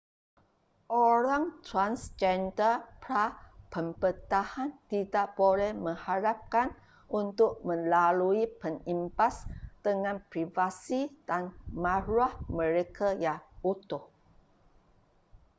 orang transgender pra-pembedahan tidak boleh mengharapkan untuk melalui pengimbas dengan privasi dan maruah mereka yang utuh